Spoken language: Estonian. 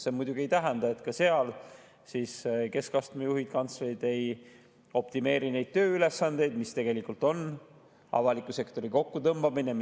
See muidugi ei tähenda, et ka seal keskastme juhid ehk kantslerid ei optimeeri tööülesandeid, mis tegelikult on avaliku sektori kokkutõmbamine.